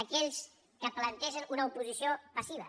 aquells que plantegen una oposició passiva